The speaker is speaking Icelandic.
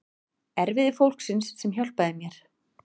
Erfiði fólksins sem hjálpaði mér.